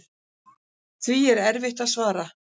Því er erfitt að svara.